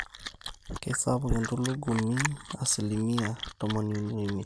keisapuk entulugumi 35%